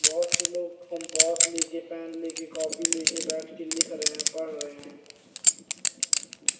बहोत से लोग कंपास लेके पेन लेके कॉपी लेके बैठ के लिख रहे हैं पढ़ रहे हैं।